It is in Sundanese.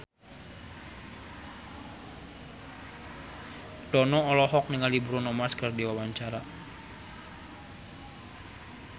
Dono olohok ningali Bruno Mars keur diwawancara